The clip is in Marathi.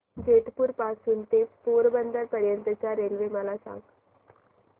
जेतपुर पासून ते पोरबंदर पर्यंत च्या रेल्वे मला सांगा